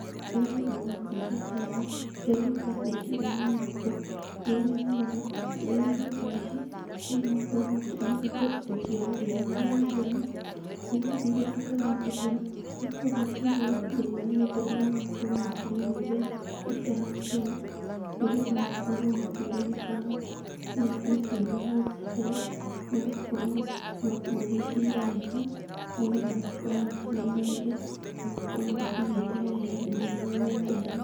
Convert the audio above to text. Rĩrĩa ndona mbica ta ĩno, kĩrĩa gĩũkaga meciria-inĩ makwa, nĩũrĩa nyonaga nĩ nyũmba ici, andũ nĩmakoragwo makĩhithia indo ciao thĩiniĩ wa nyũmba ĩno, irĩa matarahũthĩra, makoragwo makĩiga gũkũ thĩiniĩ wa nyũmba ĩno magakorwo makĩmĩhũthĩra ĩta thitoo, nĩgetha makorwo makĩgunĩka nacio nahau gabere, nĩgũkorwo magĩciga wega, nĩgetha makorwo macimenyereire, na makorwo macigĩte wega thĩiniĩ wa nyũmba ĩno.